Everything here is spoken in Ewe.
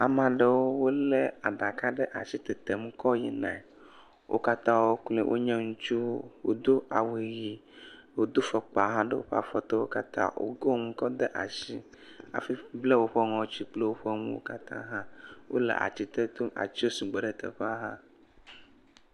Ama ɖewo wolé aɖaka ɖe ashi tetem kɔ yina. Wo katãwo kloe wonye ŋutsuwo. Wodo awu ʋee. Wodo fɔkpa hãwo ɖe afɔtewo katã. Wokɔ nu kɔ ɖe ashi hafi bla woƒe nu kple woƒe ŋɔtsi katã hã. Wole atsi ɖe to. Atsiwo sugbɔ ɖe teƒea hã.